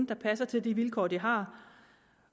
der passer til de vilkår de har